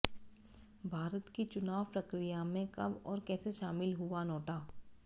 भारत की चुनाव प्रक्रिया में कब और कैसे शामिल हुआ नोटा